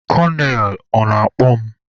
Konel, ọ na-akpọ mụ?